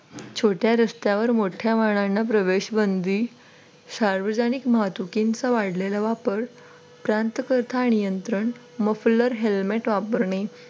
छोट्या रस्त्यांवर मोठ्या वाहनांना प्रवेश बंदी सार्वजनिक वाहतुकीचा वाढलेला वापर प्रांतकथा नियंत्रण helmet वापरणे.